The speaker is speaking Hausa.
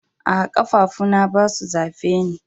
Aa, kafafu na ba su zafe ni.